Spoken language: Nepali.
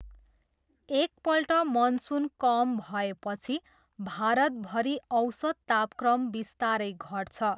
एकपल्ट मनसुन कम भएपछि, भारतभरि औसत तापक्रम बिस्तारै घट्छ।